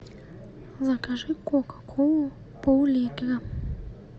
закажи кока колу пол литра